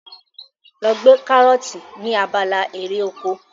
Lọ gbé karọ́ọ̀tì ní abala erè oko.